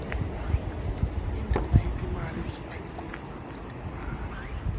induuna yetetimali ikuipha inkhulumo timali